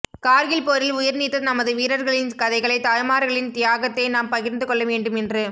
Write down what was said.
கார்கில் போரில் உயிர்நீத்த நமது வீரர்களின் கதைகளை தாய்மார்களின் தியாகத்தை நாம் பகிர்ந்து கொள்ள வேண்டும் என்று